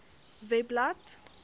webblad